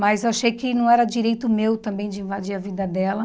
Mas eu achei que não era direito meu também de invadir a vida dela.